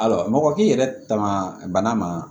Ayiwa mɔgɔ k'i yɛrɛ ta ma bana ma